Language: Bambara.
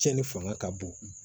Cɛnni fanga ka bon